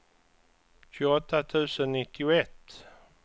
tjugoåtta tusen nittioett